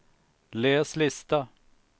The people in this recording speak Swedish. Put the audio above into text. läs lista